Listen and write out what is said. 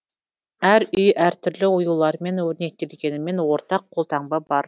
әр үй әртүрлі оюлармен өрнектелгенімен ортақ қолтаңба бар